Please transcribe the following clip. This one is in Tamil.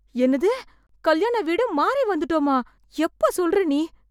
என்னது கல்யாண வீடு மாறி வந்துட்டோமா? எப்ப சொல்ற நீ?